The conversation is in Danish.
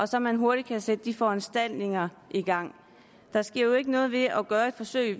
så man hurtigt kan sætte de foranstaltninger i gang der sker jo ikke noget ved at gøre et forsøg